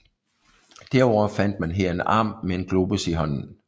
Derudover fandt man her en arm med en globus i hånden